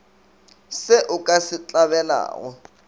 se o ka se hlabelago